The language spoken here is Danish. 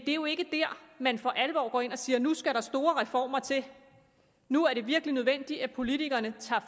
er jo ikke der man for alvor går ind og siger nu skal der store reformer til nu er det virkelig nødvendigt at politikerne tager